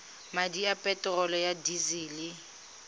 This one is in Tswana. madi a peterolo ya disele